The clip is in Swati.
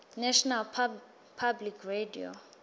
national public radio